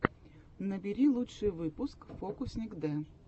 набери лучший выпуск фокусникд